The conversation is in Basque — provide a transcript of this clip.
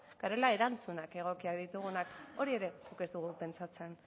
garela erantzun egokiak ditugunak hori ere guk ez dugu pentsatzen